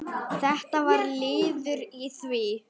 Þetta var liður í því.